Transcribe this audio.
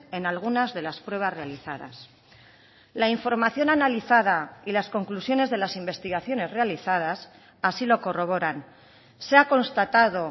en algunas de las pruebas realizadas la información analizada y las conclusiones de las investigaciones realizadas así lo corroboran se ha constatado